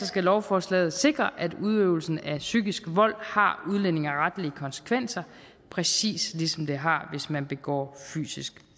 skal lovforslaget sikre at udøvelsen af psykisk vold har udlændingeretlige konsekvenser præcis ligesom det har hvis man begår fysisk